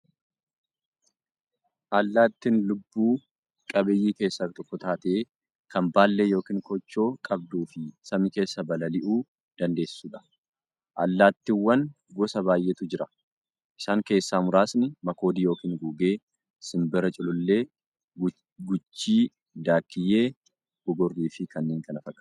Allaattiin lubbuu qabeeyyii keessaa tokko taatee, kan baallee yookiin koochoo qabduufi samii keessaa balali'uu dandeessuudha. Allaattiiwwan gosa baay'eetu jira. Isaan keessaa muraasni; makoodii yookiin gugee, simbira, culullee, guchii, daakkiyyee, gogorriifi kanneen kana fakkaataniidha.